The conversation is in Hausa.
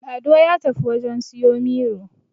Lado ya tafi wajen siyo Miro